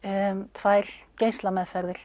tvær